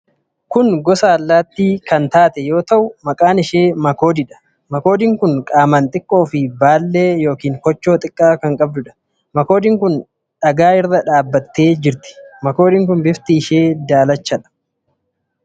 Kun gosa allaattii kan taate yoo ta'u, maqaan ishee makoodiidha. Makoodiin kun qaamaan xiqqoo fi baallee yookiin koochoo xiqqaa kan qabduudha. Makoodiin kun dhagaa irra dhaabattee jirti. Makoodiin kun bifti ishee daalachadha.